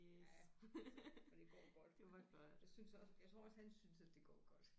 Ja så det går godt jeg synes også jeg tror også han synes at det går godt